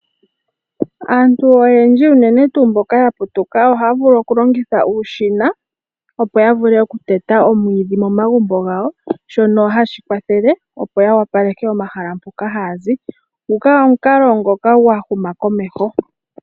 Aantu oyendji unene tuu mboka ya putuka ohaya vulu oku longitha uushina, opo ya vule oku teta omwiidhi momagumbo gawo shono hashi kwathele opo ya wapaleke omahala mpoka haya zi. Nguka ogo omukalo gwa huma komeho.